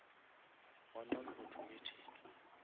wa non automatic